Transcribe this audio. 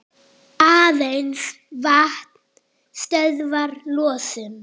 Aðeins vatn stöðvar losun.